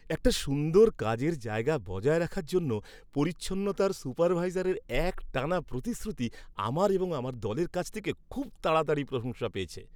একটা সুন্দর কাজের জায়গা বজায় রাখার জন্য পরিচ্ছন্নতার সুপারভাইজারের একটানা প্রতিশ্রুতি আমার এবং আমার দলের কাছ থেকে খুব তাড়াতাড়িই প্রশংসা পেয়েছে।